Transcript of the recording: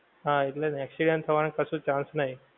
હા એટલેજ ને accident થવા નું કશું chance નહીં